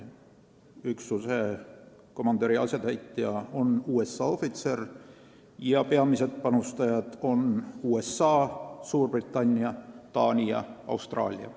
Üksuse komandöri asetäitja on USA ohvitser ja peamised panustajad on USA, Suurbritannia, Taani ja Austraalia.